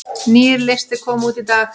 Nýr listi kom út í dag